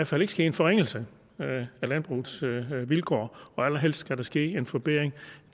fald ikke ske en forringelse af landbrugets vilkår og allerhelst skal der ske en forbedring